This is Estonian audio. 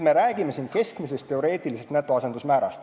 Me räägime siin keskmisest teoreetilisest netoasendusmäärast.